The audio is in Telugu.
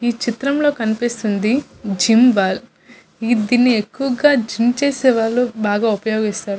ఈ చిత్రంలో కనిపిస్తుంది జిమ్ బాల్ దీన్ని ఎక్కువుగా జిమ్ చేసేవాళ్ళు బాగ ఉపయోగిస్తారు.